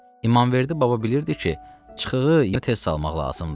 İmamverdi baba bilirdi ki, çıxığı ya tez salmaq lazımdı.